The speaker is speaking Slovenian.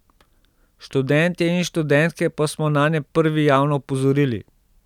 Študentje in študentke pa smo nanje prvi javno opozorili.